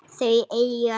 Þau eiga tvær dætur.